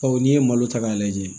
Bawo n'i ye malo ta k'a lajɛ